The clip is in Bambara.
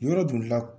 Yɔrɔ bolila